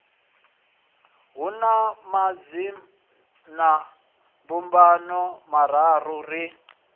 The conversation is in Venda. hu na madzinambumbano mararu ri